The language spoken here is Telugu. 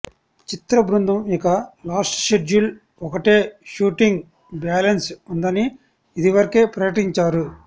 చిత్ర బృందం ఇక లాస్ట్ షెడ్యూల్ ఒకటే షూటింగ్ బ్యాలన్స్ ఉందని ఇదివరకే ప్రకటించారు